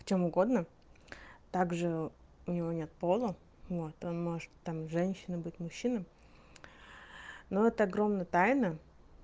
в чём угодно также у него нет пола вот он может там женщиной быть мужчинам но это огромная тайна